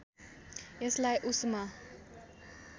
यसलाई उष्मा